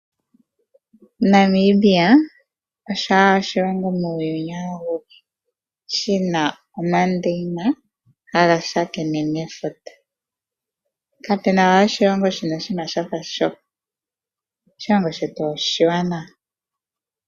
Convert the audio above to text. Namibia osho owala oshilongo muuyuni awuhe shi na omandeyina haga tsakanene nefuta kapu na we oshilongo shi na shafa sho. Oshilongo shetu oshiwanawa.